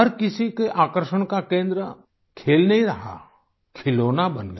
हर किसी के आकर्षण का केंद्र खेल नहीं रहा खिलौना बन गया